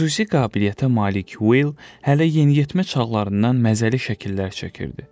Xüsusi qabiliyyətə malik Will hələ yeniyetmə çağlarından məzəli şəkillər çəkirdi.